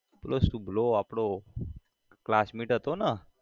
પેલો શુભલો આપડો classmate હતો ન